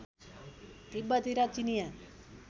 तिब्बती र चिनियाँ